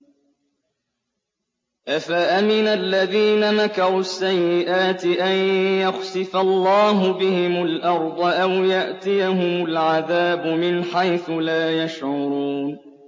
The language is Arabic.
أَفَأَمِنَ الَّذِينَ مَكَرُوا السَّيِّئَاتِ أَن يَخْسِفَ اللَّهُ بِهِمُ الْأَرْضَ أَوْ يَأْتِيَهُمُ الْعَذَابُ مِنْ حَيْثُ لَا يَشْعُرُونَ